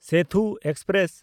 Sethu express